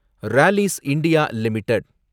Rallis India limited